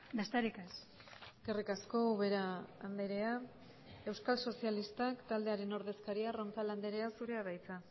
besterik ez eskerrik asko ubera andrea euskal sozialistak taldearen ordezkaria roncal andrea zurea da hitza